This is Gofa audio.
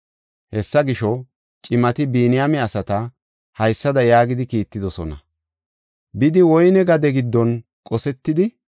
Hessa gisho, cimati, Biniyaame asata haysada yaagidi kiittidosona; “Bidi woyne gade giddon qosetidi,